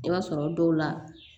I b'a sɔrɔ dɔw la